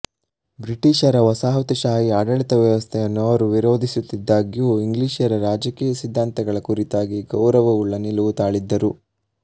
ಬ್ರಿಟಿಷರ ವಸಾಹತುಶಾಹಿ ಆಡಳಿತವ್ಯವಸ್ಥೆಗಳನ್ನು ಅವರು ವಿರೋಧಿಸುತ್ತಿದ್ದಾಗ್ಯೂ ಇಂಗ್ಲಿಷರ ರಾಜಕೀಯ ಸಿದ್ಧಾಂತಗಳ ಕುರಿತಾಗಿ ಗೌರವವುಳ್ಳ ನಿಲುವು ತಾಳಿದ್ದರು